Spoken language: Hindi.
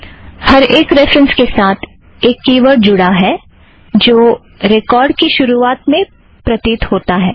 हर एक रेफ़रन्स के साथ एक की वर्ड़ जुड़ा हुआ है जो रेकोर्ड़ की शुरुवात में प्रतीत होता है